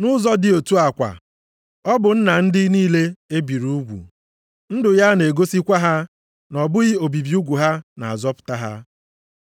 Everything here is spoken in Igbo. Nʼụzọ dị otu a kwa, ọ bụ nna ndị niile e biri ugwu. Ndụ ya na-egosikwa ha na ọ bụghị obibi ugwu ha na-azọpụta ha,